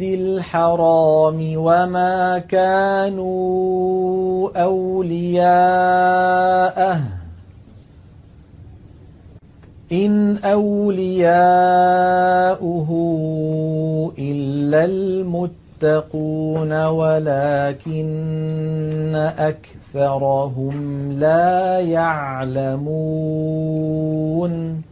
الْحَرَامِ وَمَا كَانُوا أَوْلِيَاءَهُ ۚ إِنْ أَوْلِيَاؤُهُ إِلَّا الْمُتَّقُونَ وَلَٰكِنَّ أَكْثَرَهُمْ لَا يَعْلَمُونَ